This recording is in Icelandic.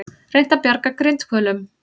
Reynt að bjarga grindhvölum